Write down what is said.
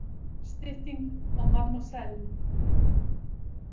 Stytting á mademoiselle.